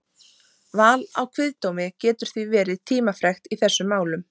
Val á kviðdómi getur því verið tímafrekt í þessum málum.